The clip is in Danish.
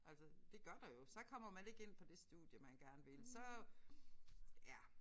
Altså det gør der jo. Så kommer man ikke ind på det studie man gerne vil så ja